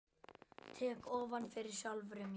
Tek ofan fyrir sjálfri mér.